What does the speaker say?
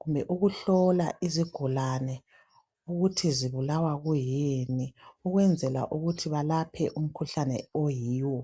kumbe ukuhlola izigulane ukuthi zibulawa kuyini ukuze balaphe umikhuhlane oyiwo.